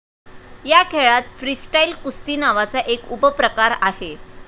या खेळात फ्रीस्टाईल कुस्ती नावाचा एक उपप्रकार आहे.